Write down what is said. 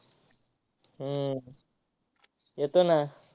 हम्म येतो ना.